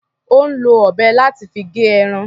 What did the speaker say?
Ò ń lo ọ̀bẹ láti fi gé ẹran.